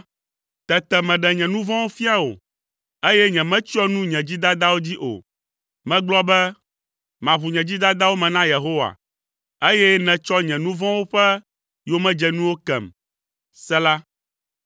Tete meɖe nye nu vɔ̃wo fia wò, eye nyemetsyɔ nu nye dzidadawo dzi o. Megblɔ be, “Maʋu nye dzidadawo me na Yehowa”, eye nètsɔ nye nu vɔ̃wo ƒe yomedzenuwo kem. Sela